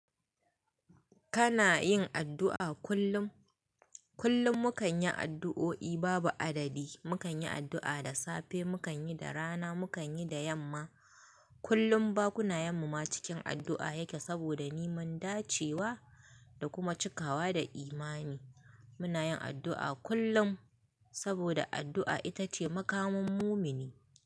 Kana yin addu'a kullum? Kullum mu kan yi addu'o'i babu adadi. Mu kan yi addu'a da safe, mu kan yi da rana, mu kan yi da yamma. Kullum bakuna yenmu ma cikin addu'a yake saboda neman dacewa da kuma cikawa da imani. Muna yin addu'a kullum saboda addu'a ita ce makamun mumini.